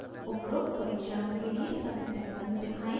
उपरोक्त परीक्षणों के लिए circuit डायग्राम्स दिखाएँ